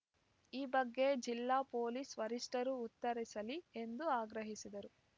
ಈ ಬಗ್ಗೆ ಜಿಲ್ಲಾ ಪೊಲೀಸ್‌ ವರಿಷ್ಟರು ಉತ್ತರಿಸಲಿ ಎಂದು ಆಗ್ರಹಿಸಿದರು